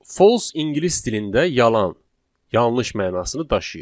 False ingilis dilində yalan, yanlış mənasını daşıyır.